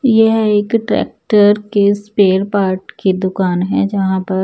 यह एक ट्रैक्टर के स्पेयर पार्ट की दुकान है जहां पर--